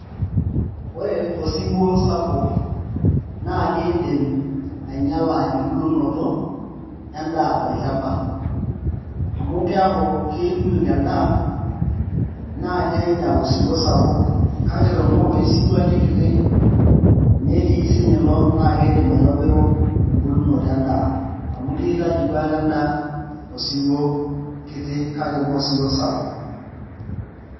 Ore osiwuo sapuk naa kiidim ainyiala embulunoto endaa tolchamba amu keeku keyukuyuk endaa naa kiinyial osiwuo sapuk, kake tenaa oloshi siwuo ake keti netii siinye ilo naa kiidim aitobiru embulunoto endaa amu kiitaji duoake endaa osiwuo kiti kake mee osiwuo sapuk.